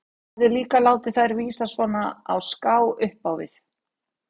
Hann hafði líka látið þær vísa svona á ská upp á við.